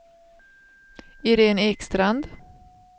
Irene Ekstrand